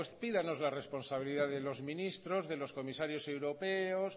pídanos la responsabilidad de los ministros de los comisarios europeos